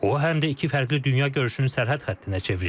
O, həm də iki fərqli dünya görüşünün sərhəd xəttinə çevrilib.